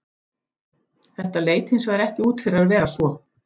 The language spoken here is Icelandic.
Þetta leit hins vegar ekki út fyrir að vera svo.